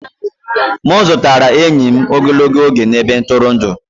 M zutere enyi m ogologo oge na ebe ntụrụndụ